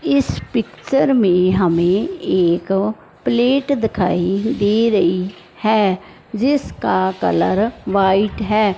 इस पिक्चर में हमें एक प्लेट दिखाई दे रही है जिसका कलर व्हाइट है।